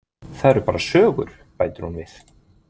Það eru bara sögur, bætir hún við.